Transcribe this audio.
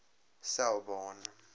selborne